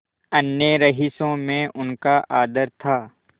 अन्य रईसों में उनका आदर था